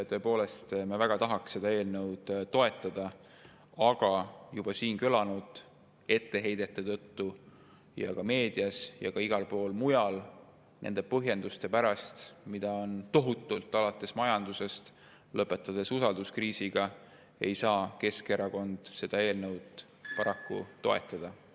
Tõepoolest, me väga tahaks seda eelnõu toetada, aga juba siin kõlanud etteheidete tõttu ning meedias ja igal pool mujal kõlanud põhjenduste pärast, mida on tohutult, alates majandusest ja lõpetades usalduskriisiga, ei saa Keskerakond seda eelnõu paraku toetada.